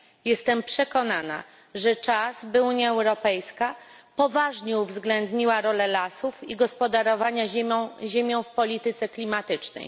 Jestem przekonana, że czas, by Unia Europejska poważnie uwzględniła rolę lasów i gospodarowania ziemią w polityce klimatycznej.